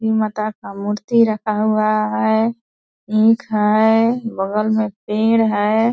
ई माता का मूर्ति रखा हुआ है इंक है बगल में पेड़ है ।